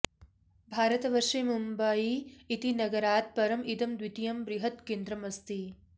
भारतवर्षे मुम्बाई इति नगरात् परम् इदं द्वितीयं बृहत् केन्द्रमस्ति